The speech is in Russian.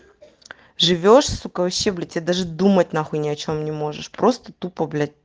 живёшь сука и вообще блять те даже думать нахуй ни о чем не можешь просто тупо блять